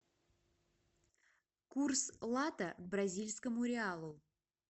курс лата к бразильскому реалу